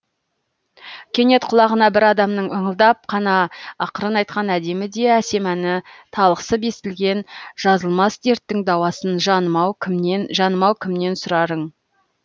кенет құлағына бір адамның ыңылдап қана ақырын айтқан әдемі де әсем әні талықсып естілген жазылмас дерттің дауасын жанымау кімнен жанымау кімнен сұрарың